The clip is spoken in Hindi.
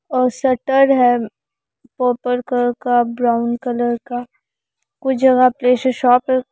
और शटर हैं पर्पल का ब्राउन कलर का कुछ जगह पे ऐसे शॉप हैं।